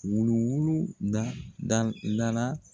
Wuluwulu da da da la.